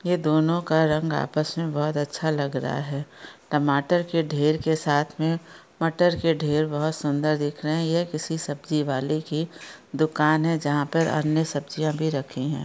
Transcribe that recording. यह दोनों का रंग आपस में बहुत अच्छा लग रहा हैं टमाटर के ढेर के साथ में मटर के ढेर बहुत सुंदर दिख रहे हैं यह किसी सब्जी वाले की दुकान हैं जहाँ पर अन्य सब्ज़ियाँ भी रखी हैं।